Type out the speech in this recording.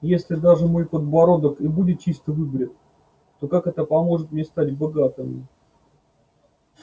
если даже мой подбородок и будет чисто выбрит то как это поможет мне стать богатым